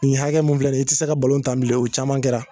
Nin hakɛ mun filɛ ni i ti se ka tan bilen o caman kɛra